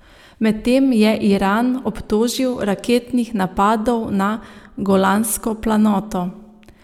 Medtem je Iran obtožil raketnih napadov na Golansko planoto.